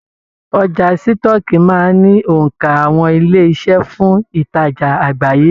Ọjà sitọ̀ọ́kíi máa n ni onka àwọn ilé-iṣẹ́ fún ìtajà àgbáyé.